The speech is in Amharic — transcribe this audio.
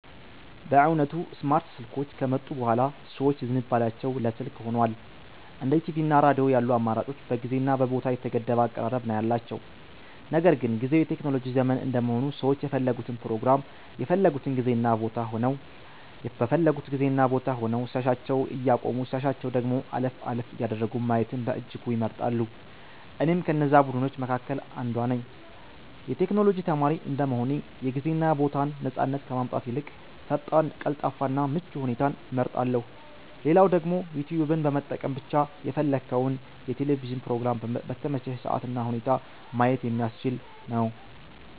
በእውነቱ ስማርት ስልኮች ከመጡ ቡሃላ ሰዎች ዝንባሊያቸው ለ ስልክ ሁኗል። እንደ ቲቪ እና ሬዲዮ ያሉ አማራጮች በጊዜ እና ቦታ የተገደበ አቀራረብ ነው ያላቸው። ነገር ግን ጊዝው የቴክኖሎጂ ዘመን እንደመሆኑ ሰዎች የፈለጉትን ፕሮግራም በፈለጉት ጊዜ እና ቦታ ሆነው ሲያሻቸው እያቆሙ ሲያሻቸው ደግሞ አለፍ አለፍ እያደረጉ ማየትን በእጅጉ ይመርጣሉ። እኔም ከነዛ ቡድኖች መካከል አንዷ ነኝ። የ ቴክኖሎጂ ተማሪ እንደመሆኔ የ ጊዜ እና ቦታን ነፃነት ከማጣት ይልቅ ፈጣን፣ ቀልጣፋ እና ምቹ ሁኔታን እመርጣለው። ሌላው ደግሞ ዩትዩብን በመጠቀም ብቻ የፈለግከውን የ ቴሌቪዥን ፕሮግራም በተመቸህ ሰአት እና ሁኔታ ማየት የሚያስችል ነው።